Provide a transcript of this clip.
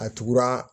A tugura